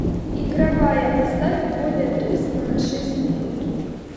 игровая поставь более тускло на шесть минут